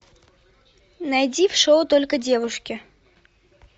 найди в шоу только девушки